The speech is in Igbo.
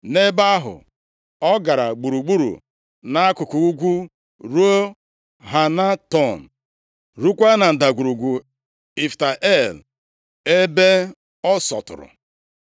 Nʼebe ahụ, ọ gara gburugburu nʼakụkụ ugwu ruo Hanatọn, ruokwa na Ndagwurugwu Ifta El ebe ọ sọtụrụ.